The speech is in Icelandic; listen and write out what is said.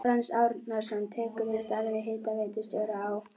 Franz Árnason tekur við starfi hitaveitustjóra á